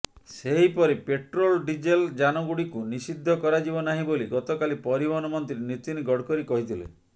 ସେହିପରି petrol diesel ଯାନଗୁଡିକୁ ନିଷିଦ୍ଧ କରାଯିବ ନାହିଁ ବୋଲି ଗତକାଲି ପରିବହନ ମନ୍ତ୍ରୀ ନିତିନ ଗଡ଼କରୀ କହିଥିଲେ